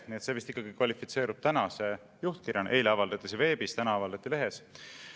Nii et see vist ikkagi kvalifitseerub tänase juhtkirjana, eile avaldati see veebis, täna avaldati lehes.